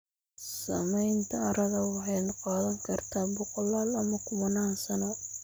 Samaynta carrada waxay qaadan kartaa boqolaal ama kumanaan sano.